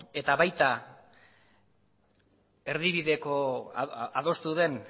eta baita adostu den